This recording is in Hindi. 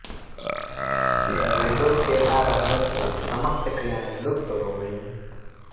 वेदों के ना रहने से समस्त क्रियाएँ लुप्त हो गयी